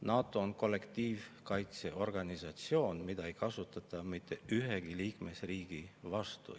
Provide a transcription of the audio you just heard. NATO on kollektiivkaitseorganisatsioon, mida ei kasutata mitte ühegi liikmesriigi vastu.